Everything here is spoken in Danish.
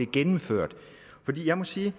gennemført for jeg må sige